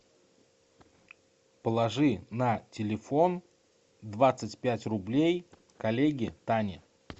положи на телефон двадцать пять рублей коллеге тане